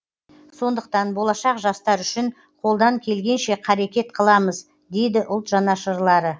сондықтан болашақ жастар үшін қолдан келгенше қарекет қыламыз дейді ұлт жанашырлары